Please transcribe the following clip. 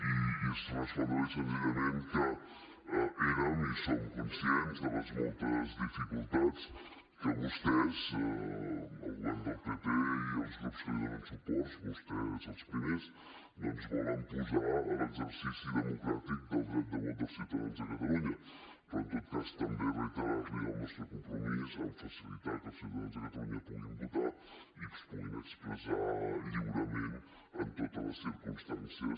i és respondre li senzillament que érem i som conscients de les moltes dificultats que vostès el govern del pp i els grups que li donen suport vostès els primers doncs volen posar a l’exercici democràtic del dret de vot dels ciutadans de catalunya però en tot cas també reiterar li el nostre compromís en facilitar que els ciutadans de catalunya puguin votar i es puguin expressar lliurement en totes les circumstàncies